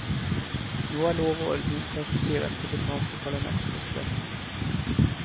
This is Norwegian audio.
Nå er lov og orden innført, sier den tibetanske parlamentspresidenten.